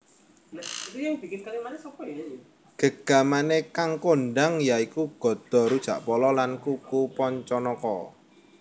Gegamané kang kondhang ya iku Gada Rujakpolo lan kuku Pancanaka